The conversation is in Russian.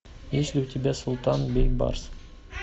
есть ли у тебя султан бейбарс